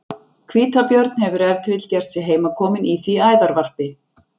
Hvítabjörn hefur ef til vill gert sig heimakominn í því æðarvarpi.